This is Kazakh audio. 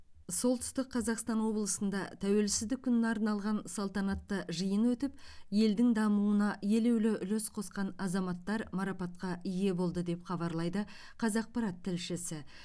солтүстік қазақстан облысында тәуелсіздік күніне арналған салтанатты жиын өтіп елдің дамуына елеулі үлес қосқан азаматтар марапатқа ие болды деп хабарлайды қазақпарат тілшісі